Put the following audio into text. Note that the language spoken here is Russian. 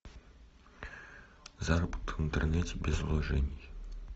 заработок в интернете без вложений